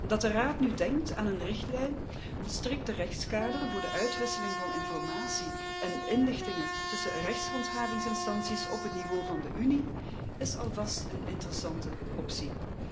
Dat de Raad nu denkt aan een richtlijn voor een strikter rechtskader voor de uitwisseling van informatie en inlichtingen tussen rechtshandhavingsinstanties op het niveau van de Unie, is alvast een interessante optie.